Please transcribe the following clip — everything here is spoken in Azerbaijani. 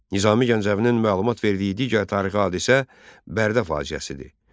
Nizami Gəncəvinin məlumat verdiyi digər tarixi hadisə Bərdə faciəsidir.